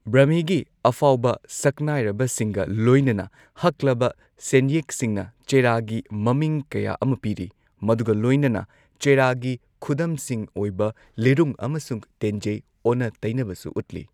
ꯕ꯭ꯔꯍꯃꯤꯒꯤ ꯑꯐꯥꯎꯕ ꯁꯛꯅꯥꯏꯔꯕꯁꯤꯡꯒ ꯂꯣꯏꯅꯅ ꯍꯛꯂꯕ ꯁꯦꯟꯌꯦꯛꯁꯤꯡꯅ ꯆꯦꯔꯥꯒꯤ ꯃꯃꯤꯡ ꯀꯌꯥ ꯑꯃ ꯄꯤꯔꯤ, ꯃꯗꯨꯒ ꯂꯣꯏꯅꯅ ꯆꯦꯔꯥꯒꯤ ꯈꯨꯗꯝꯁꯤꯡ ꯑꯣꯏꯕ ꯂꯤꯔꯨꯡ ꯑꯃꯁꯨꯡ ꯇꯦꯟꯖꯩ ꯑꯣꯅ ꯇꯩꯅꯕꯁꯨ ꯎꯠꯂꯤ꯫